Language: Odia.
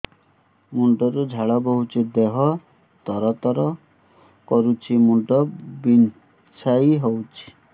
ମୁଣ୍ଡ ରୁ ଝାଳ ବହୁଛି ଦେହ ତର ତର କରୁଛି ମୁଣ୍ଡ ବିଞ୍ଛାଇ ହଉଛି